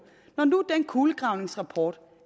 når nu den kulegravningsrapport